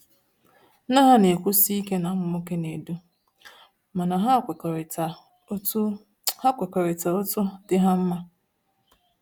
Nne ya na-ekwusi ike na ụmụ nwoke na-edu, mana ha kwekọrịta otu ha kwekọrịta otu dị ha mma